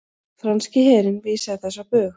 Franski herinn vísaði þessu á bug